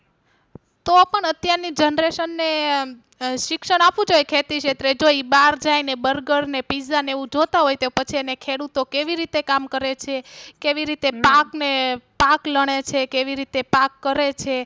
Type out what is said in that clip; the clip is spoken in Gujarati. તો પણ અત્યાર ની Generation ને શિક્ષણ આપવું જોઈએ ખેતી ક્ષેત્રે જો ઈ બહાર જાય ને Burger ને Pizza ને એવું જોતા હોય તો પછી એને ખેડૂતો કેવી રીતે કામ કરે છે કેવી રીતે પાક ને પાક લણે છે કેવી રીતે પાક કરે છે